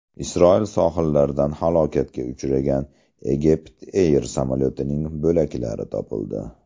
Isroil sohillaridan halokatga uchragan EgyptAir samolyotining bo‘laklari topildi.